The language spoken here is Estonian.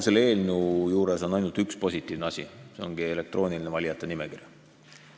Selles eelnõus on ainult üks positiivne asi, see ongi elektrooniline valijate nimekiri.